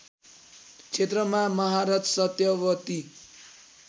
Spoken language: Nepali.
क्षेत्रमा महारथ सत्यवती